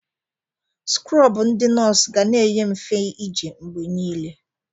Skrọbụ ndi nọọsụ ga na-enye mfe ije mgbe niile.